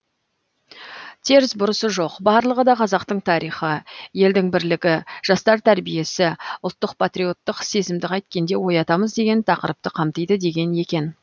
теріс бұрысы жоқ барлығы да қазақтың тарихы елдің бірлігі жастар тәрбиесі ұлттық патриоттық сезімді қайткенде оятамыз деген тақырыпты қамтиды деген екен